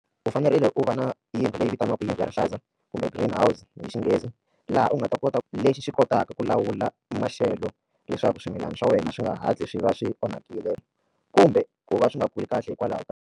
U fanerile u va na yindlu leyi vitaniwaka yindlu ya rihlaza kumbe green house hi Xinghezi laha u nga ta kota ku lexi xi kotaka ku lawula maxelo leswaku swimilana swa wena swi nga hatli swi va swi onhakile kumbe ku va swi nga kuli kahle hikwalaho ka.